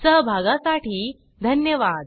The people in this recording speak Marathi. सहभागासाठी धन्यवाद